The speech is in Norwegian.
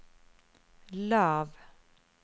lav